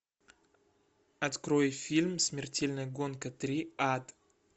открой фильм смертельная гонка три ад